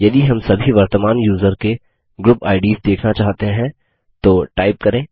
यदि हम सभी वर्तमान यूज़र के ग्रुप आईडीएस देखना चाहते हैं तो टाइप करें